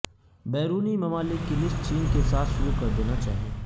بیرونی ممالک کی لسٹ چین کے ساتھ شروع کر دینا چاہئے